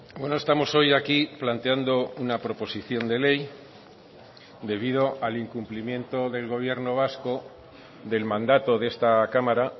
bueno estamos hoy aquí planteando una proposición de ley debido al incumplimiento del gobierno vasco del mandato de esta cámara